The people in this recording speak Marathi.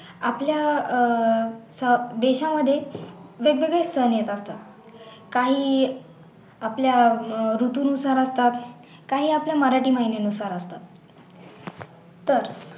आपल्या अह देशामध्ये वेग वेगळे सण येत असतात काही आपल्या अह ऋतूनुसार असतात काही आपल्या मराठी महिन्यानुसार असतात तर